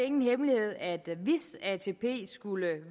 ingen hemmelighed at hvis atp skulle